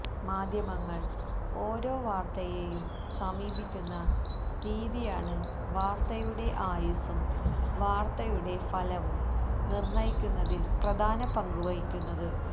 മാധ്യമങ്ങള് ഓരോ വാര്ത്തയേയും സമീപിക്കുന്ന രീതിയാണ് വാര്ത്തയുടെ ആയുസ്സും വാര്ത്തയുടെ ഫലയും നിര്ണയിക്കുന്നതില് പ്രധാന പങ്ക് വഹിക്കുന്നത്